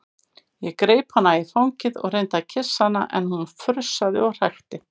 Greip hana í fangið og reyndi að kyssa hana en hún frussaði og hrækti.